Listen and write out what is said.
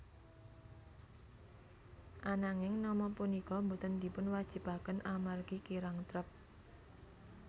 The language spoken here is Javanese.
Ananging nama punika boten dipunwajibaken amargi kirang trep